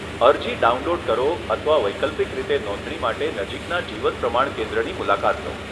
અરજી ડાઉનલોડ કરો અથવા વૈકલ્પિક રીતે નોંધણી માટે નજીકના જીવન પ્રમાણ કેન્દ્રની મુલાકાત લો.